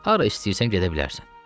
Hara istəyirsən gedə bilərsən.